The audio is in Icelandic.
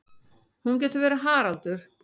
Hún getur verið Haraldur